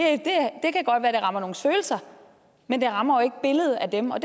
rammer nogles følelser men det rammer jo ikke billedet af dem og